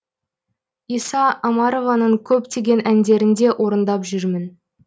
иса омарованың көптеген әндерінде орындап жүрмін